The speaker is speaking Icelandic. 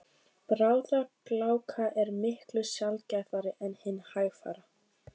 Bráðagláka er miklu sjaldgæfari en hin hægfara.